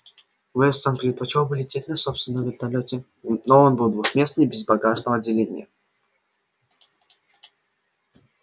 вестон предпочёл бы лететь на собственном вертолёте но он был двухместный и без багажного отделения